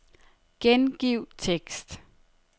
Gengiv tekst.